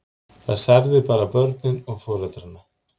Það særði bara börnin og foreldrana.